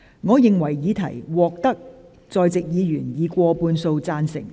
我認為議題獲得在席議員以過半數贊成。